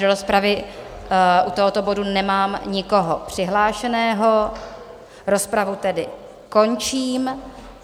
Do rozpravy u tohoto bodu nemám nikoho přihlášeného, rozpravu tedy končím.